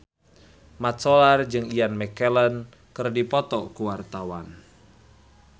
Mat Solar jeung Ian McKellen keur dipoto ku wartawan